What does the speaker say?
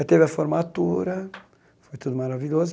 Aí teve a formatura, foi tudo maravilhoso.